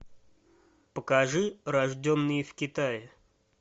покажи рожденные в китае